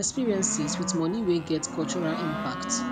experiences wit money wey get cultural impact